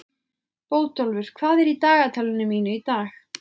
Bótólfur, hvað er í dagatalinu mínu í dag?